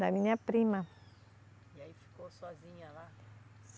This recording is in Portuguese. Da minha prima. E aí ficou sozinha lá